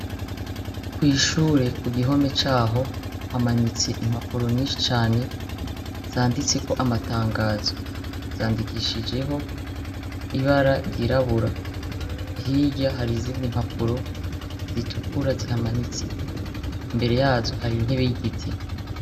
Kw'ishure kugihome caho hamanitse impapuro nyishi cane zanditseho amatangazo, zandikishijeho ibara ryirabura, hirya hari izindi impapuro zitukura zihamanitse, mbere yazo hari intebe y'igiti.